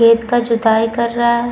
खेत का जुताई कर रहा है।